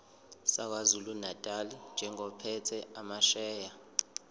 sakwazulunatali njengophethe amasheya